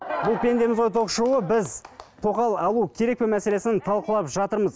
бұл пендеміз ғой ток шоуы біз тоқал алу керек пе мәселесін талқылап жатырмыз